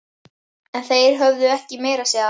En þeir höfðu ekki meira að segja.